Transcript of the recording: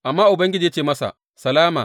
Amma Ubangiji ya ce masa, Salama!